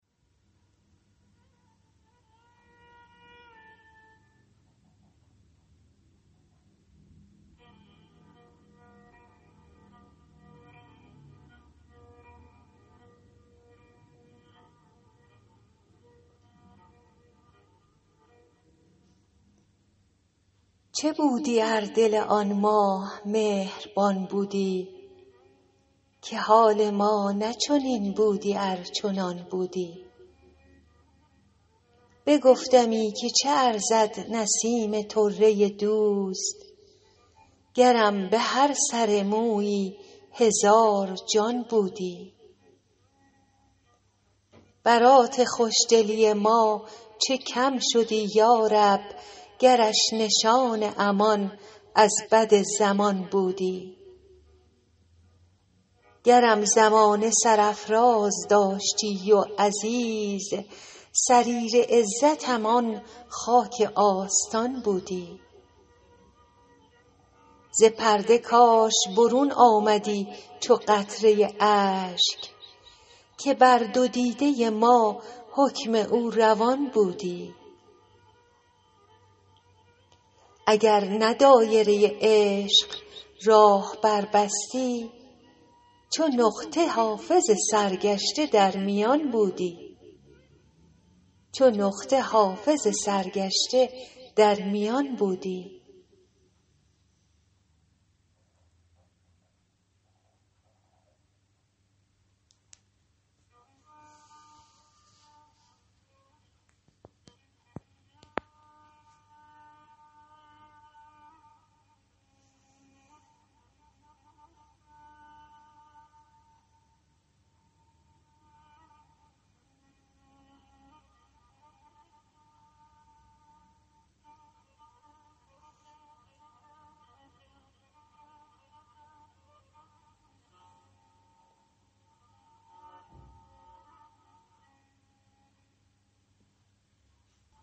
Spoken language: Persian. چه بودی ار دل آن ماه مهربان بودی که حال ما نه چنین بودی ار چنان بودی بگفتمی که چه ارزد نسیم طره دوست گرم به هر سر مویی هزار جان بودی برات خوش دلی ما چه کم شدی یا رب گرش نشان امان از بد زمان بودی گرم زمانه سرافراز داشتی و عزیز سریر عزتم آن خاک آستان بودی ز پرده کاش برون آمدی چو قطره اشک که بر دو دیده ما حکم او روان بودی اگر نه دایره عشق راه بربستی چو نقطه حافظ سرگشته در میان بودی